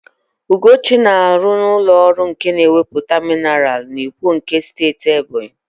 Ugochi na-arụ n'ụlọ ọrụ na-egwuputa minaral n'Ikwo nke Steeti Ebonyi.